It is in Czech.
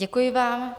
Děkuji vám.